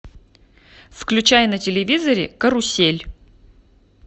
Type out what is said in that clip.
включай на телевизоре карусель